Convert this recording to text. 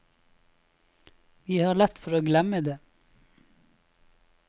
Vi har lett for å glemme det.